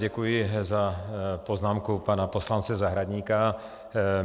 Děkuji za poznámku pana poslance Zahradníka.